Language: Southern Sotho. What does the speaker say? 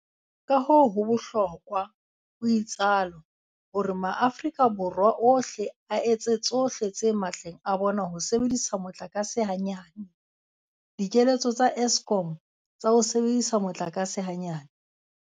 Kahoo ho bohlokwa, o itsalo, hore maAforika Borwa ohle a etse tsohle tse matleng a bona ho sebedisa motlakase hanyane. Dikeletso tsa Eskom tsa ho sebedisa motlakase hanyane.